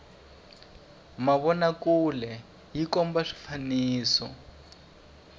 mavona kule yi komba swifaniso